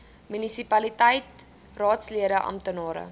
munisipaliteit raadslede amptenare